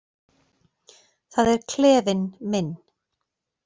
Það er klefinn minn.